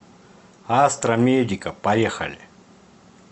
астра медика поехали